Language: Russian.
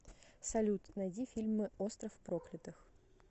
салют найди фильмы остров проклятых